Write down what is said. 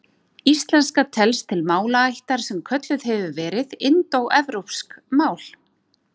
Íslenska telst til málaættar sem kölluð hefur verið indóevrópsk mál.